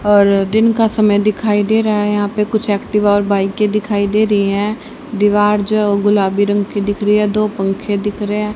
और दिन का समय दिखाई दे रहा है यहां पे कुछ एक्टिवा और बाइक के दिखाई दे रही है दीवार जो गुलाबी रंग की दिख रही दो पंखे दिख रहे हैं।